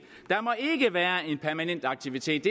der må ikke være en permanent aktivitet